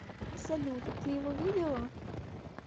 салют ты его видела